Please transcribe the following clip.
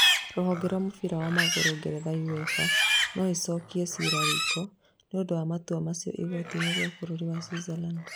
Rũhonge rwa mũbira wa magũrũ ngeretha Uefa noĩcokie cira riko nĩũndũ wa matua macio igooti-inĩ rĩa bũrũri wa Switzerland